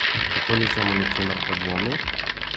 Kako nisem o ničemer podvomil?